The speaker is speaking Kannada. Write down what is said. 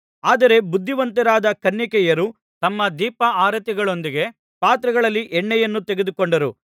ಆದರೆ ಬುದ್ಧಿವಂತರಾದ ಕನ್ನಿಕೆಯರು ತಮ್ಮ ದೀಪಾರತಿಗಳೊಂದಿಗೆ ಪಾತ್ರೆಗಳಲ್ಲಿ ಎಣ್ಣೆಯನ್ನೂ ತೆಗೆದುಕೊಂಡರು